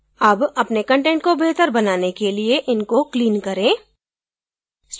अब अपने कंटेंट को बेहतर बनाने के लिए इनको clean करें